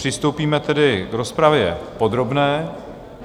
Přistoupíme tedy k rozpravě podrobné.